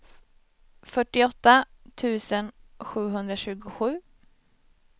fyrtioåtta tusen sjuhundratjugosju